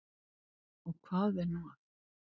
Og hvað er nú það?